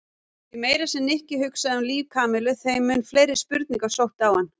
Því meira sem Nikki hugsaði um líf Kamillu þeim mun fleiri spurningar sóttu á hann.